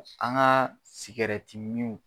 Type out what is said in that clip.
An ka .